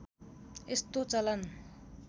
यस्तो चलन